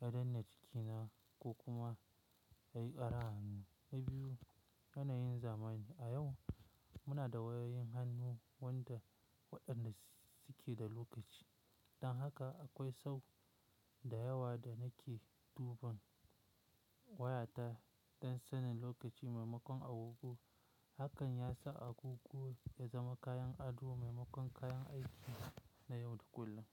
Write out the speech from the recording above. ya danne jikina ko kuma ya yi ƙara hannu. Na biyu, yanayin zamani. A yau muna da wayoyin hannu wanda waɗannan suke da lokaci. Don haka akwai sau da yawa da nake duban wayata don sanin lokaci maimakon agogo. Hakan ya sa agogo ya zama kayan ado maimakon kayan aiki na yau da kullum.